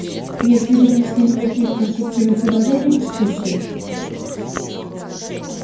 если вы внесли никаких конструктивных предложений в дискуссию